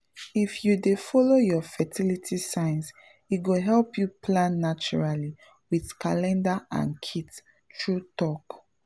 if you dey follow your fertility signs e go help you plan naturally with calendar and kit — true talk